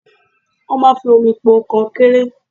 Wọ́n máa ń fi omi po kọnkéré.